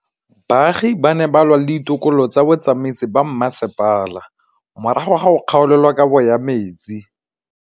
Baagi ba ne ba lwa le ditokolo tsa botsamaisi ba mmasepala morago ga go gaolelwa kabo metsi